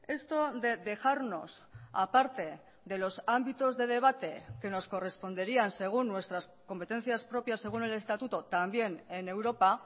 esto de dejarnos aparte de los ámbitos de debate que nos corresponderían según nuestras competencias propias según el estatuto también en europa